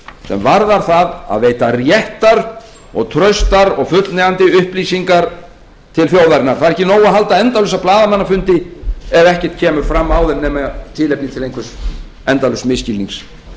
sem varðar það að veita réttar traustar og fullnægjandi upplýsinga til þjóðarinnar það er ekki nóg að halda endalausa blaðamannafundi ef ekkert kemur fram á þeim nema tilefni til einhvers endalauss misskilnings